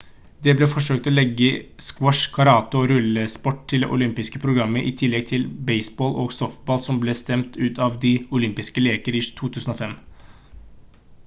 det ble forsøkt å legge squash karate og rullesport til det olympiske programmet i tillegg til baseball og softball som ble stemt ut av de olympiske leker i 2005